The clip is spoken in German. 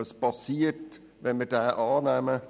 Was geschieht, wenn wir diesen annehmen?